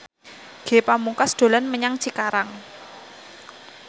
Ge Pamungkas dolan menyang Cikarang